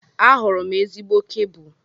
Ahụrụ m ezigbo kebụl.